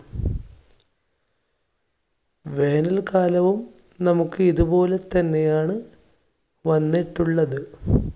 വേനൽ കാലവും നമുക്ക് ഇതുപോലെ തന്നെ ആണ് വന്നിട്ടുള്ളത്.